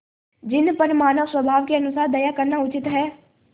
जिन पर मानवस्वभाव के अनुसार दया करना उचित है